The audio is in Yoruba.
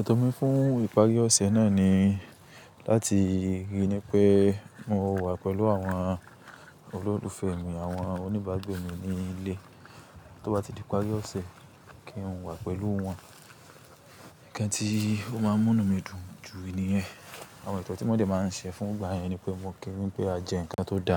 Ẹ̀tọ́ mi fún ìparí ọ̀sẹ̀ náà ni láti ríi pé mo wà pẹ̀lú àwọn olólùfẹ́ mi, àwọn oníbàgbe mi ní ilé. Tó bá ti di ìparí ọ̀sẹ̀ kí n wà pẹ̀lú wọn. Ǹnkan tí ó máa ń mú inumidùn ju níyẹn. Àwọn etọ̀ tí mo dẹ máa ń ṣe fún ngbà yẹn ni pé won kí wí n pé a jẹ ǹnkan tó da,